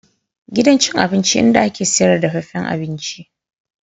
Gidan cin abinci inda ake sayar da dafaffen abinci